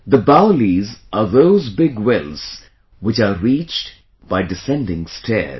The Baolis are those big wells which are reached by descending stairs